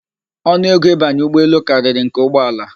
Ọnụego ịbanye ụgbọelu karịrị nke ụgbọala